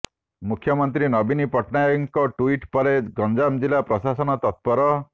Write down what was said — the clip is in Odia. ମୁଖ୍ୟମନ୍ତ୍ରୀ ନବୀନ ପଟ୍ଟନାୟକଙ୍କ ଟୁଇଟ ପରେ ଗଞ୍ଜାମ ଜିଲ୍ଲା ପ୍ରଶାସନ ତତ୍ପର